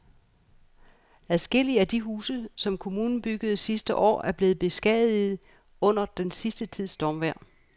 Adskillige af de huse, som kommunen byggede sidste år, er blevet beskadiget under den sidste tids stormvejr.